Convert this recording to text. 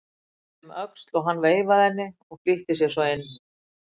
Hún leit um öxl og hann veifaði henni og flýtti sér svo inn.